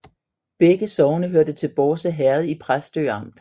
Begge sogne hørte til Bårse Herred i Præstø Amt